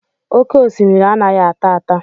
Oké osimiri anaghị ata ata